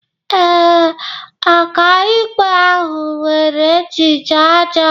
Ee, ọkàikpe ahụ nwere echiche ọjọọ